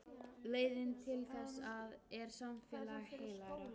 Leiðin til þess er samfélag heilagra.